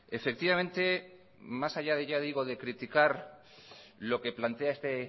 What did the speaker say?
efectivamente más allá de criticar lo que plantea este